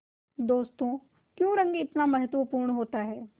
दोस्तों क्यों रंग इतना महत्वपूर्ण होता है